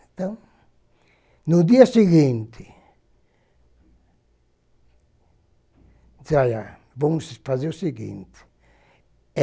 Então, no dia seguinte, disse olha, vamos fazer o seguinte.